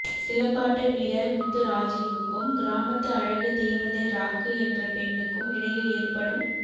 சிலம்பாட்ட வீரர் முத்து ராஜுவுக்கும் கிராமத்து அழகு தேவதை ராக்கு என்ற பெண்ணுக்கும் இடையில் ஏற்படும்